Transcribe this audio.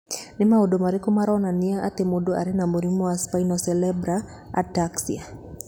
Nĩ maũndũ marĩkũ maronania atĩ mũndũ arĩ na mũrimũ wa Spinocerebellar ataxia?